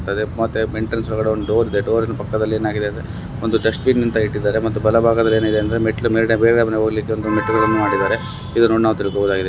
ಮತ್ತೆ ಎಂಟ್ರನ್ಸ್ ಒಳಗಡೆ ಒಂದ್ ಡೋರ್ ಇದೆ. ಡೋರಿನ ಪಕ್ಕದಲ್ಲಿ ಏನಾಗಿದೆ ಅಂದ್ರೆ ಒಂದು ಡಸ್ಟ್ಬಿನ್ ಅಂತ ಇಟ್ಟಿಧಾರೆ ಮತ್ತೆ ಬಲಭಾಗದಲ್ಲಿ ಏನಾಗಿದೆ ಅಂದ್ರೆ ಮೆಟ್ಲು ಮೇಲ್ಗಡೆ ಮೇಲ್ಗಡೆ ಮನೆ ಹೋಗ್ಲಿಕ್ಕೆ ಮೆಟ್ಟಿಲುಗಳನ್ನು ಮಾಡಿಧಾರೆ ಇದನ್ನ್ ನೋಡಿ ನಾವ್ ತಿಳ್ಕೋಬೋದಾಗಿದೆ.